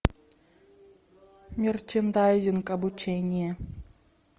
мерчендайзинг обучение